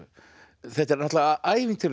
þetta er ævintýralegt